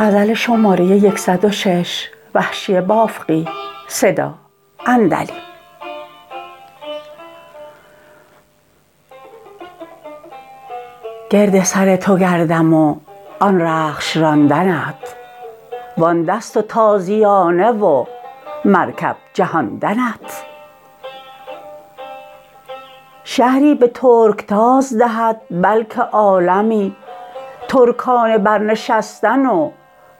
گرد سر تو گردم و آن رخش راندنت وان دست و تازیانه و مرکب جهاندنت شهری به ترکتاز دهد بلکه عالمی ترکانه برنشستن و